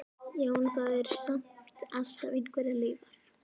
Já, en það eru samt alltaf einhverjar leifar.